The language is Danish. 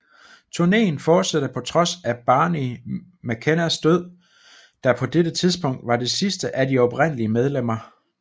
Turneen fortsatte på trods af Barney McKennas død der på dette tidspunkt var det sidste af de oprindelige medlemmer